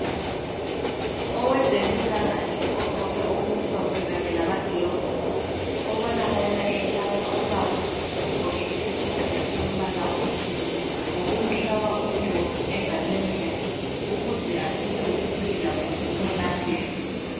Owezempilakhle ogqoke okumhlophe kanye lamagilovusi, obonakala eyelapha ubaba ogqoke isikipa esilombala onsundu ngokumhlaba umjovo engalweni yakhe ukuze athole ukuphila kumbe ukwelapheka.